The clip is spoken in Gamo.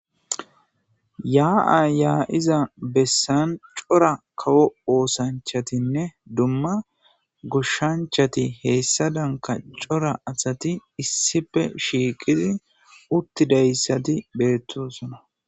yaa7a ya7iza bessan cora kawo oosanchatinne dumma goshshanchati heessa danka cora asati issife shiiqidi uttidayssati beettusona